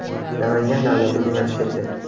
Namangan davlat universiteti.